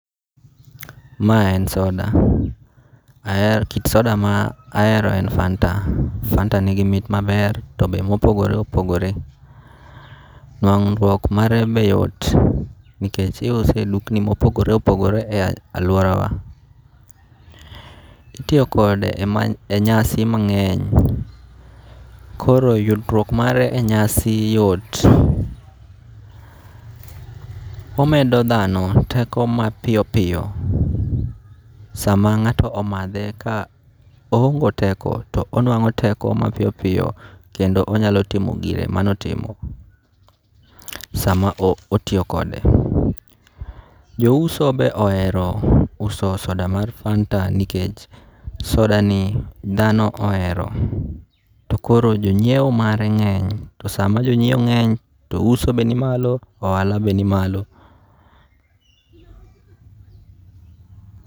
Mae en soda, ahero kit soda ma ahero en fanta, fanta nigi mit maber to be mopogore opogore, nuang'ruok mare be yot nikech iuse e dukni mopogore opogore e aluorawa. Itiyokode e nyasi mange'ny koro yudruok mare e nyasi yot, omedo thano teko mapiyo piyo sama nga'to omathe ka ohonge teko to onwango' teko mapiyo piyo kendo onyalo timo gire mano otimo, sama otiyo kode, jouso be ohero uso soda mar fanta nikech sodani thano ohero, to koro jonyiewo mare nge'ny to sama jonyiewo nge'ny to uso be nimalo ohala be nimalo.